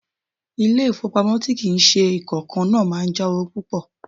Ilé-ifowopamo tí kì í ṣe ìkankan náà máa ń já owó púpò.